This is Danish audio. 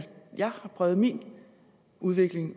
præget min udvikling